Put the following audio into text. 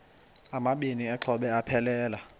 amabini exhobe aphelela